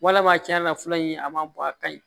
Walama tiɲɛ yɛrɛ la fura in a ma bɔ a ka ɲi